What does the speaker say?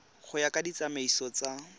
go ya ka ditsamaiso tsa